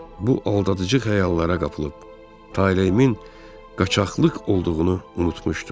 Bu aldadıcı xəyallara qapılıb taleyimin qaçaqlıq olduğunu unutmuşdum.